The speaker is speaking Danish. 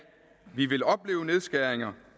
vi vil opleve nedskæringer